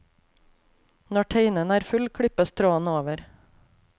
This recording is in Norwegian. Når teinen er full, klippes tråden over.